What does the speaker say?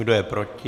Kdo je proti?